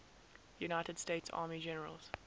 united states army generals